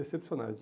Excepcionais.